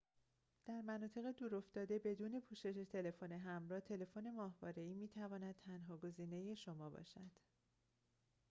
در مناطق دور افتاده بدون پوشش تلفن همراه تلفن ماهواره‌ای می‌تواند تنها گزینه شما باشد